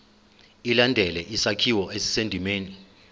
ilandele isakhiwo esisendimeni